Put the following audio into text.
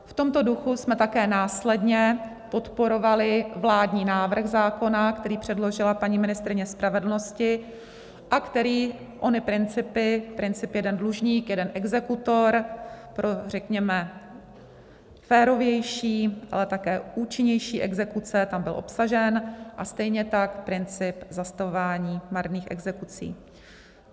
V tomto duchu jsme také následně podporovali vládní návrh zákona, který předložila paní ministryně spravedlnosti a který ony principy, princip jeden dlužník - jeden exekutor, pro řekněme férovější, ale také účinnější exekuce tam byl obsažen, a stejně tak princip zastavování marných exekucí.